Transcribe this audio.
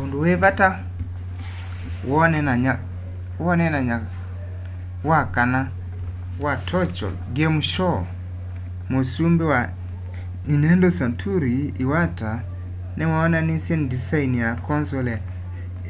undu wi vata woneenany'a wa wakana wa tokyo game show muusumbi wa nintendo satoru iwata niwoonanisye ndisaini ya console